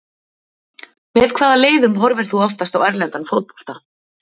Með hvaða leiðum horfir þú oftast á erlendan fótbolta?